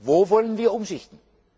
Wo wollen wir umschichten?